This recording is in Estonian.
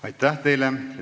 Aitäh teile!